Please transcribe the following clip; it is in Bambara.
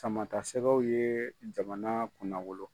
Sama ta sɛgɛw ye jamana kunna wolo.